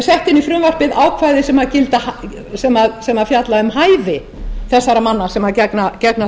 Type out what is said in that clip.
enn fremur hafa verið sett inn í frumvarpið ákvæði sem fjalla um hæfi þessara manna sem gegna